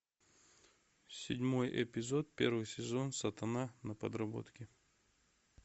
седьмой эпизод первый сезон сатана на подработке